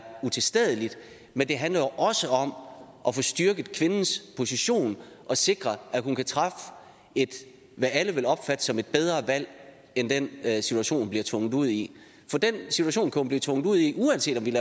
utilstedeligt men det handler jo også om at få styrket kvindens position og sikret at hun kan træffe hvad alle vil opfatte som et bedre valg end den situation hun bliver tvunget ud i for den situation kan hun blive tvunget ud i uanset om vi